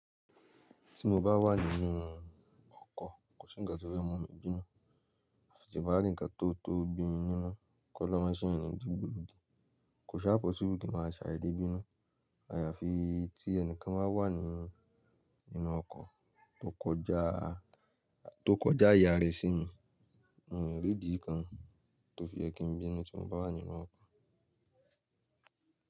Tí mo bá wà nínú ọkọ̀, kò sí ǹkan tó fẹ mú mi bínú. Àfi tí bá rí ǹkan tótó bí mi nínú. Kọí Olórun máa ṣe éeyàn ní dìgbòlugi kò sá pọssible kí máa ṣàdédé bínú. Àyàfi tí ẹni kan bá wà nínú ọkọ̀ tó kọjá tó kọjá àyè àrá sí mi, mi o rí ìdí kan tó fi yẹ kí n bínú tí mo bá wà nínú ọkọ̀.